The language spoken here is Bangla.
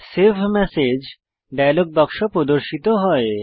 সেভ মেসেজ ডায়লগ বাক্স প্রদর্শিত হয়